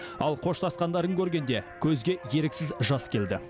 ал қоштасқандарын көргенде көзге еріксіз жас келді